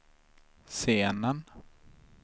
scenen